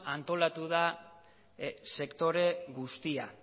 antolatu da sektore guztia